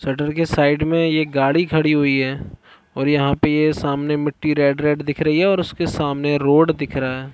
Shutter के side में ये गाड़ी खड़ी हुई है और यहाँ पे सामने ये मिट्टी रेड -रेड दिख रही हैऔर उसके सामने रोड दिख रहा हैं ।